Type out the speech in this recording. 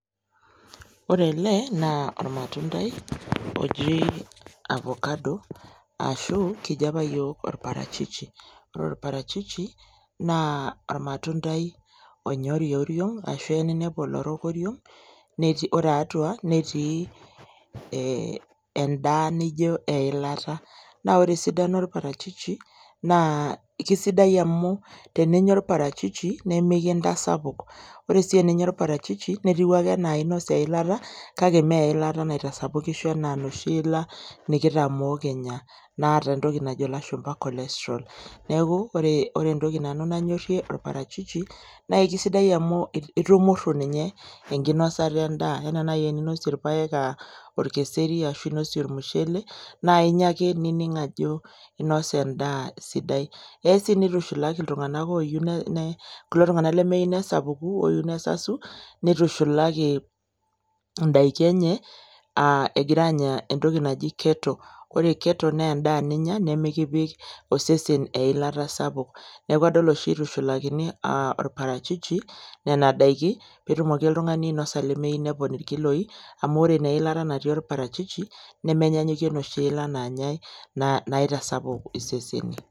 Ore ele naa ormatundai oji avocado ashu kijo apa yiook orparachichi . Ore orparachichi naa ormatundai onori oriong ashu kelo ninepu olorok oriong netii , ore atua netii endaa naijo eilata. Naa ore esidano orparachichi naa kesidai amu teninya orparachichi naa mekintasapuk, ore sii teninya orparachichi netiu ake anaa inosa eilata kake mme enoshi ilata nikitamoo kinya naata entoki najo ilashumba cholestrol . Niaku ore entoki nanu nanyorie parachichi naa isidai amu itumuru ninye enkinosata endaa anaa naji teninosie irpaek, orkeseri , ashu inosie ormushele naa inya ake nining ajo inosa endaa sidai. Eya sii nitushulaki iltunganak oyieu, kulo tunganak lemeyieu nesapuku , neyieu nesasu, nitushulaki indaiki enye , a egira anya entoki naji keto . Ore keto naa endaa ninya nemikipik osesen eilata sapuk. Niaku adol oshi itushulakini orparachichi nena daiki , peetumoki oltungani ainosa lemeyieu nepon inkiloi amu ore ina ilata natii orparachichi nemenyanyukie inosi ilat nanyae naitasapuk isesen.